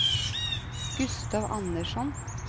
Gustav Andersson